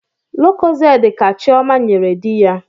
Lokozede ka chioma nyere dị ya